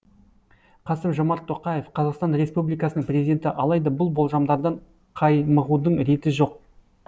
қасым жомарт тоқаев қазақстан республикасының президенті алайда бұл болжамдардан қаймығудың реті жоқ